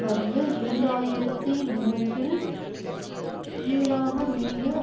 வகையில் இரண்டாயிரத்தி மூற்றில் ஈராக மீது